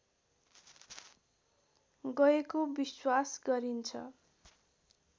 गएको विश्वास गरिन्छ